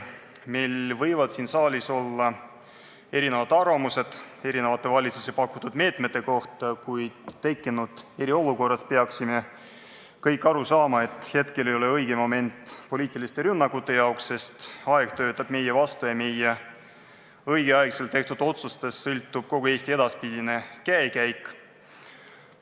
Meil võivad siin saalis olla erinevad arvamused erinevate valitsuste pakutud meetmete kohta, kuid eriolukorras peaksime kõik aru saama, et praegu ei ole õige moment poliitiliste rünnakute jaoks, sest aeg töötab meie vastu ja meie õigeaegselt tehtud otsustest sõltub kogu Eesti edaspidine käekäik.